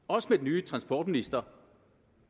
også med den nye transportminister